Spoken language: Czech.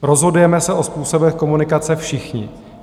Rozhodujeme se o způsobech komunikace všichni.